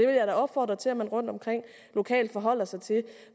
da opfordre til at man rundtomkring lokalt forholder sig til